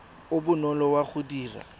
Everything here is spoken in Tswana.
o bonolo wa go dira